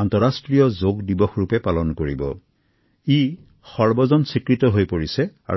এটা গুৰুত্বপূৰ্ণ দিন হৈ পৰিছে